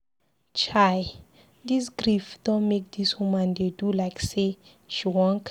Chai, dis grief don make dis woman dey do like sey she wan craze.